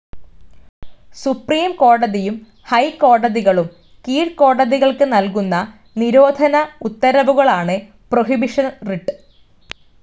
Supreme കോടതിയും, high കോടതികളും കീഴ്കോടതികൾക്ക് നൽകുന്ന നിരോധന ഉത്തരവുകളാണ് പ്രൊഹിബിഷൻ റിട്ട്.